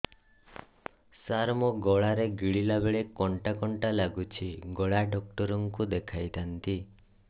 ସାର ମୋ ଗଳା ରେ ଗିଳିଲା ବେଲେ କଣ୍ଟା କଣ୍ଟା ଲାଗୁଛି ଗଳା ଡକ୍ଟର କୁ ଦେଖାଇ ଥାନ୍ତି